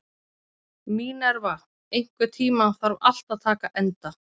Mínerva, einhvern tímann þarf allt að taka enda.